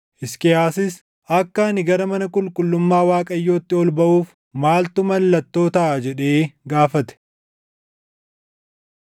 Hisqiyaasis, “Akka ani gara mana qulqullummaa Waaqayyootti ol baʼuuf maaltu mallattoo taʼa?” jedhee gaafate.